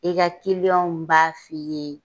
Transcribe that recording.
I ka kiliyɔnw b'a f'i ye.